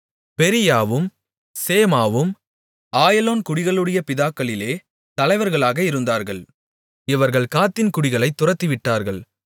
பெரீயாவும் சேமாவும் ஆயலோன் குடிகளுடைய பிதாக்களிலே தலைவர்களாக இருந்தார்கள் இவர்கள் காத்தின் குடிகளைத் துரத்திவிட்டார்கள்